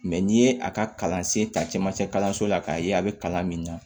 n'i ye a ka kalansen ta cɛmancɛ kalanso la k'a ye a bɛ kalan min na